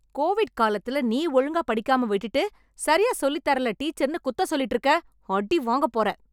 Covid காலத்துல நீ ஒழுங்காப் படிக்காம விட்டுட்டு, சரியா சொல்லித் தரல டீச்சரன்னு குத்தம் சொல்லிட்டுருக்க... அடி வாங்கப்போறே...